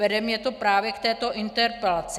Vede mě to právě k této interpelaci.